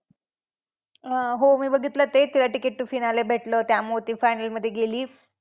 अं हो मी बघितलं ते तिला ticket to finale भेटलं. त्यामुळे ती final मध्ये गेली.